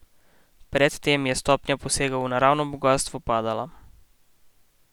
Pred tem je stopnja posegov v naravno bogastvo padala.